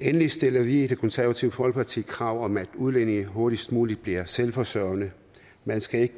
endelig stiller vi i det konservative folkeparti krav om at udlændinge hurtigst muligt bliver selvforsørgende man skal ikke